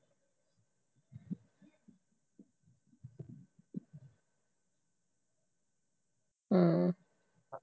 ਹਮ